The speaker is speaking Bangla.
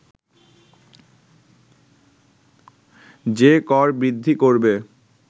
যে কর বৃদ্ধি করবে